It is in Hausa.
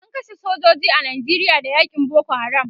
an kashe sojoji a Nijeria Da yakin Boko haram